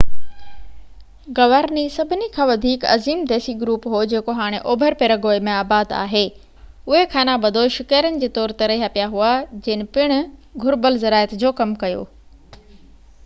Guarani سڀني کان وڌيڪ عظيم ديسي گروپ هو جيڪو هاڻي اوڀر پيراگوئي ۾ آباد آهي اهي اڌ خانہ بدوش شڪارين جي طور تي رهيا پيا هئا جن پڻ گهربل زراعت جو ڪم ڪيو